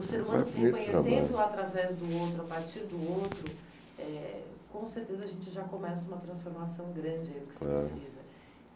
O ser humano se reconhecendo através do outro, a partir do outro, eh com certeza a gente já começa uma transformação grande eh aí que se precisa.